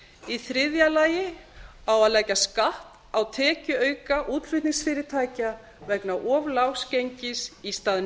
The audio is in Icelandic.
í þriðja lagi á að leggja skatt á tekjuauka útflutningsfyrirtækja vegna of lágs gengis í stað